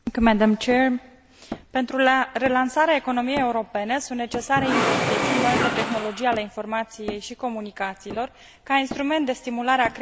Pentru relansarea economiei europene sunt necesare investiții în noile tehnologii ale informației și comunicațiilor, ca instrument de stimulare a creșterii economice.